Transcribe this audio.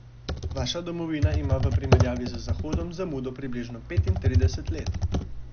Vaša domovina ima v primerjavi z Zahodom zamudo približno petintrideset let!